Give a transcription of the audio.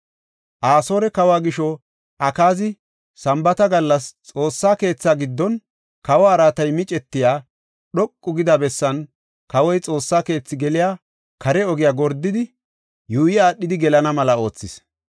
Asoore kawa gisho, Akaazi Sambaata gallas Xoossa keetha giddon kawa araatay micetiya dhoqu gida bessaanne kawoy Xoossa keethi geliya kare ogiya gordidi, yuuyi aadhidi gelana mela oothis.